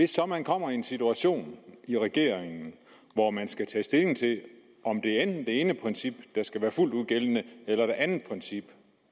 så man kommer i en situation i regeringen hvor man skal tage stilling til om det enten er det ene princip der skal være fuldt ud gældende eller det andet princip